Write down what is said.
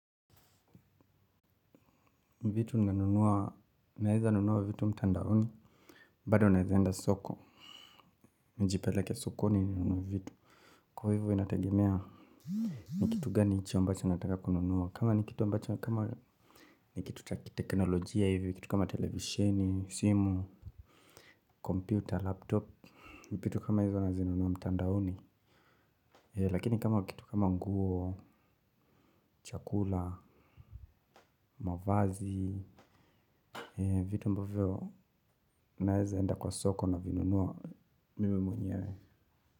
Vitu nimenunua, naweza nunua vitu mtandaoni. Bado naweza enda soko. Nijipeleke sokoni ninunue vitu. Kwa hivyo inatagemea ni kitu gani ichi ambacho nataka kununua. Kama ni kitu ambacho, kama ni kitu cha kitekinolojia hivi, kitu kama televisheni, simu, computer, laptop. Vitu kama hizo nazinunua mtandaoni. Lakini kama kitu kama nguo, chakula, mavazi, vitu mbavyo naweza enda kwa soko navinunua mimi mwenyewe.